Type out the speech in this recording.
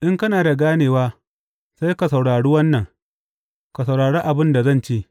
In kana da ganewa sai ka saurari wannan; ka saurari abin da zan ce.